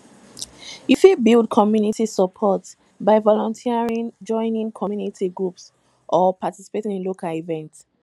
you fit build community support by volunteering joining community groups or participating in local events